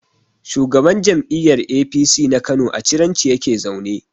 Shugaban jam'iyyar APC na Kano a Ciranci yake zaune.